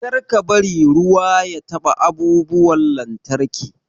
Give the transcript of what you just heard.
Kar ka bari ruwa ya taɓa abubuwan lantarki.